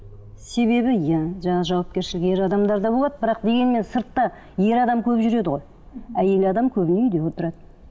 себебі иә жаңағы жауапкершілік ер адамдарда болады бірақ дегенмен сыртта ер адам көп жүреді ғой әйел адам көбіне үйде отырады